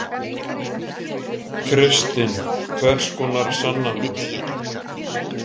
Kristinn: Hvers konar sannanir?